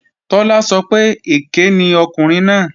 Tọ́lá sọ pé èké ni ọkùnrin náà